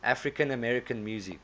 african american music